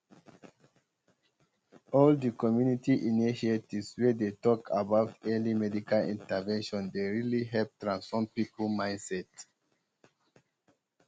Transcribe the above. all um di community initiatives wey dey talk about um early medical intervention dey really help transform people mindset